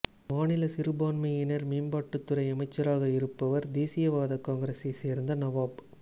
மாநில சிறுபான்மையினர் மேம்பாட்டுத்துறை அமைச்சராக இருப்பவர் தேசியவாத காங்கிரசை சேர்ந்த நவாப்